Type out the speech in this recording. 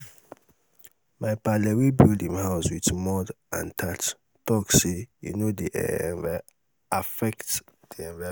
my paale wey build im house wit mud um and thatch talk say um e no um dey affect di environment.